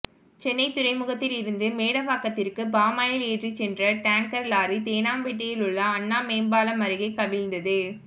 சென்னை துறைமுகத்தில் இருந்து மேடவாக்கத்திற்கு பாமாயில் ஏற்றி சென்ற டேங்கர் லாரி தேனாம்பேட்டையில் உள்ள அண்ணா மேம்பாலம் அருகே கவிழ்ந்தது